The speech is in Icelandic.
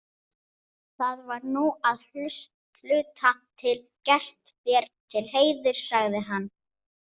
Það var nú að hluta til gert þér til heiðurs, sagði hann.